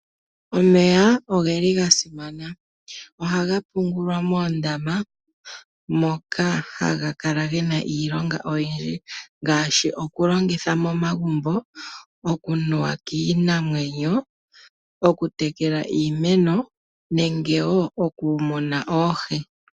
Omeya oge li ga simana. Ohaga pungulwa moondama moka haga kala gena iilonga oyindji ngaashi: okulongitha momagumbo, okunuwa kiinamwenyo, okutekela iimeno nenge wo okumuna oohi.